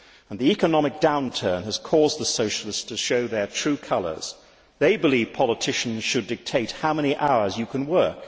The economic downturn has caused the Socialists to show their true colours. They believe politicians should dictate how many hours you can work.